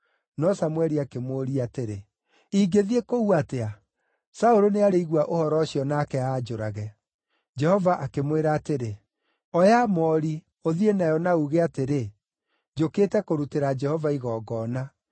No Samũeli akĩmũũria atĩrĩ, “Ingĩthiĩ kũu atĩa? Saũlũ nĩarĩigua ũhoro ũcio nake anjũrage.” Jehova akĩmwĩra atĩrĩ, “Oya moori, ũthiĩ nayo na uuge atĩrĩ, ‘Njũkĩte kũrutĩra Jehova igongona.’